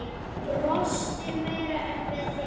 Brosti meira en við hin.